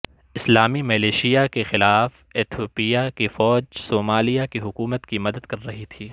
اسلامی ملیشیاء کے خلاف ایتھوپیا کی فوج صومالیہ کی حکومت کی مدد کر رہی تھی